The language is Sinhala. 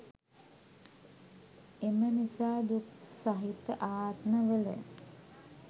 එම නිසා දුක් සහිත ආත්මවල